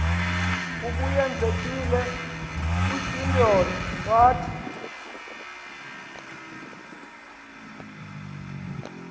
ubuyekezile utyindyolo wathi